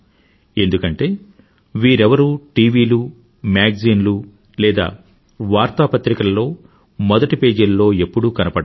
ఎందుకంటే వీరెవరూ టివీలు మ్యాగజీన్లు లేదా వార్తాపత్రికలలో మొదటి పేజీల్లో ఎప్పుడూ కనబడరు